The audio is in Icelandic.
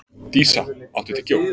Dísa, áttu tyggjó?